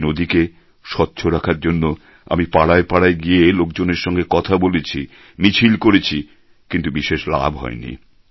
এই নদীকে স্বচ্ছ রাখার জন্য আমি পাড়ায় পাড়ায় গিয়ে লোকজনের সঙ্গে কথা বলেছি মিছিল করেছি কিন্তু বিশেষ লাভ হয়নি